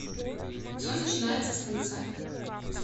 все начинается с конца